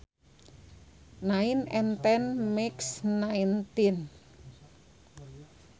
Nine and ten makes nineteen